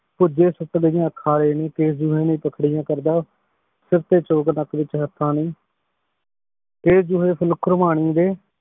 ਕੇਸ਼ ਜੂਹੇ ਨੇ ਕੇਸ਼ ਜੂਹੇ ਫੁੱਲ ਖੁਰਵਾਨੀ ਦੇ